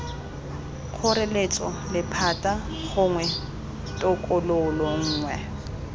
kgoreletso lephata gongwe tokololo nngwe